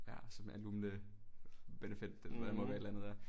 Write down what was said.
Ja some alumne benefit det der må være et eller andet der